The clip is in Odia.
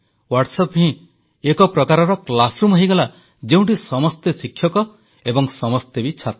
ହ୍ୱାଟ୍ସଆପ ହିଁ ଏକ ପ୍ରକାରର ଶ୍ରେଣୀଗୃହ ହୋଇଗଲା ଯେଉଁଠି ସମସ୍ତେ ଶିକ୍ଷକ ଏବଂ ସମସ୍ତେ ବି ଛାତ୍ର